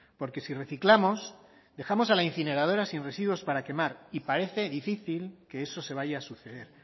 porque si reciclamos dejamos a la incineradora sin residuos para quemar y parece difícil que eso se vaya a suceder